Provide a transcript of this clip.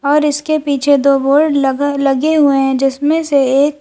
और इसके पीछे दो बोर्ड लगा लगे हुए हैं जिसमें से एक--